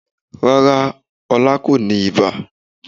Rárá, Ọlá kò ní ibà